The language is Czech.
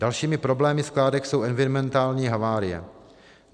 Dalšími problémy skládek jsou environmentální havárie.